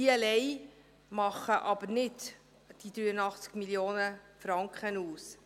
Diese machen allein aber nicht die 83 Mio. Franken aus.